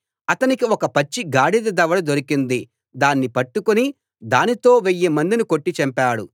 అతనికి ఒక పచ్చి గాడిద దవడ దొరికింది దాన్ని పట్టుకుని దానితో వెయ్యి మందిని కొట్టి చంపాడు